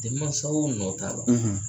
Denmasaw nɔ t'a la